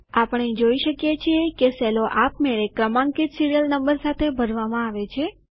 આપણે જોઇ શકીએ છીએ કે સેલો આપમેળે ક્રમાંકિત સીરીયલ નંબર સાથે ભરવામાં આવે છે